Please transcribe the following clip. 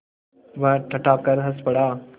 वह ठठाकर हँस पड़ा